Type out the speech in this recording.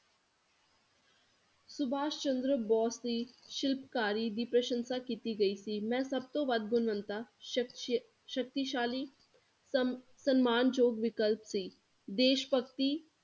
ਸੁਭਾਸ਼ ਚੰਦਰ ਬੋਸ ਦੀ ਸ਼ਿਲਪਕਾਰੀ ਦੀ ਪ੍ਰਸ਼ੰਸ਼ਾ ਕੀਤੀ ਗਈ ਸੀ ਮੈ ਸਭ ਤੋ ਵੱਧ ਗੁਣਵਣਤਾ ਸ਼ਕਤੀਸ਼~ ਸ਼ਕਤੀਸ਼ਾਲੀ ਸਮ~ ਸਨਮਾਨਯੋਗ ਵਿਕਲਪ ਸੀ ਦੇਸ਼ਭਗਤੀ